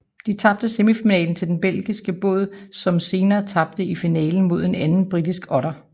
De tabte i semifinalen til den belgiske båd som senere tabte i finalen mod en anden britisk otter